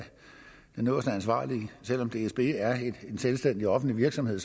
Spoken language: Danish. den øverste ansvarlige selv om dsb er en selvstændig offentlig virksomhed